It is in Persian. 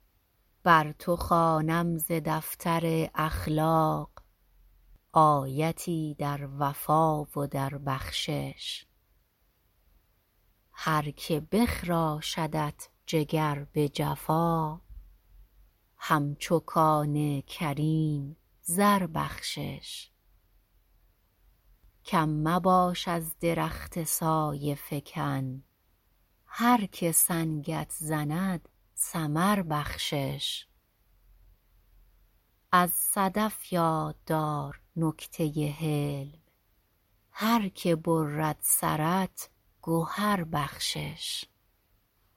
بر تو خوانم ز دفتر اخلاق آیتی در وفا و در بخشش هرکه بخراشدت جگر به جفا هم چو کان کریم زر بخشش کم مباش از درخت سایه فکن هرکه سنگت زند ثمر بخشش از صدف یاددار نکته ی حلم هرکه برد سرت گهر بخشش